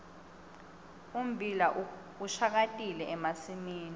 ummbila ushakatile emasimini